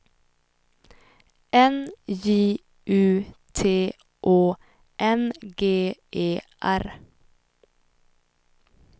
N J U T Å N G E R